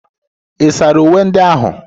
Ị̀ sara uwe ndị ahụ?